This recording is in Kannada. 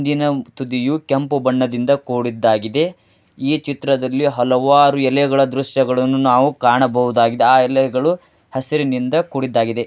ದಿನ ತುದಿಯು ಕೆಂಪು ಬಣ್ಣದಿಂದ ಕೂಡಿದ್ದಾಗಿದೆ ಈ ಚಿತ್ರದಲ್ಲಿ ಹಲವಾರು ಎಲೆಗಳು ದೃಶ್ಯಗಳಿನ್ನು ನಾವು ಕಾಣಬಹುದಾಗಿದೆ ಆ ಎಲೆಗಳು ಹಸಿರು ನಿಂದ ಕುಡಿದಾಗಿದೆ.